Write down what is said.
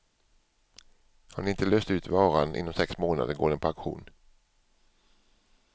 Har ni inte löst ut varan inom sex månader går den på auktion.